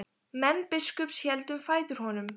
Menn biskups héldu um fætur honum.